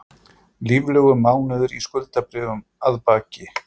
Líflegur mánuður í skuldabréfum að baki